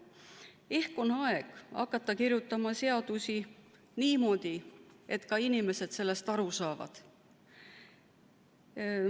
Ehk on aeg hakata kirjutama seadusi niimoodi, et inimesed nendest aru saavad.